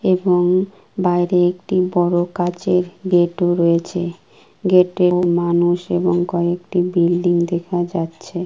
এবং বাইরে একটি বড় কাঁচেরগেট রয়েছে গেট এর মানুষ এবং কয়েকটি বিল্ডিং দেখা যাচ্ছে।